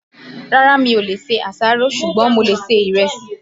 Rárá, mi ò lè ṣe àṣàrò, ṣùgbọ́n mo lè ṣe ìrẹsì